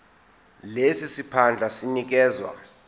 lesi siphandla sinikezwa